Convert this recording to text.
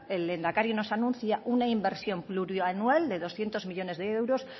el lehendakari nos anuncia una inversión plurianual de doscientos millónes de euros